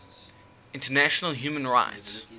international human rights